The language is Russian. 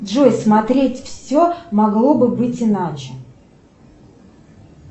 джой смотреть все могло бы быть иначе